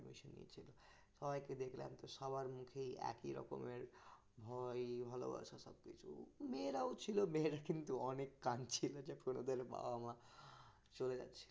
সবাইকে দেখলাম সবার মধ্যেই একই রকমের ভয় ভালোবাসার সবকিছু মেয়েরাও ছিল মেরা কিন্তু অনেক কাদছিল যে ওদের বাবা-মা চলে যাচ্ছে